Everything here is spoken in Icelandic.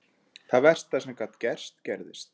Það versta sem gat gerst gerðist.